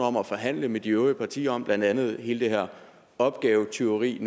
om at forhandle med de øvrige partier om blandt andet hele det her opgavetyveri